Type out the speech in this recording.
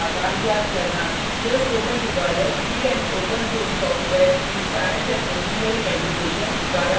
यह spoken tutorial free and open source software in science and engineering education fossee द्वारा बनाया गया है